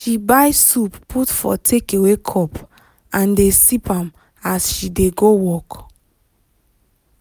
she buy soup put for takeaway cup and dey sip am as she dey go work.